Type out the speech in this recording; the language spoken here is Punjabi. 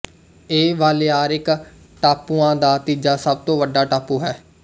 ਇਹ ਬਾਲੇਆਰਿਕ ਟਾਪੂਆਂ ਦਾ ਤੀਜਾ ਸਭ ਤੋਂ ਵੱਡਾ ਟਾਪੂ ਹੈ